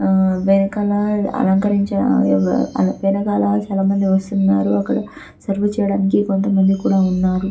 ఆ వెనకాల అలంకరించి ఆ వెనకాల చాలామంది వస్తున్నారు అక్కడ సర్వ్ చేయడానికి కొంతమంది కూడా ఉన్నారు .